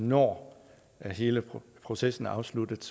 når hele processen er afsluttet